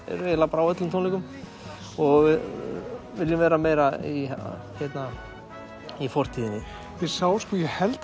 eru eiginlega bara á öllum tónleikum og viljum vera meira í í fortíðinni ég sá sko ég held